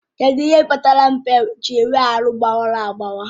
Kedụ ihe kpatara mbe ji nwee ahụ gbawara agbawa?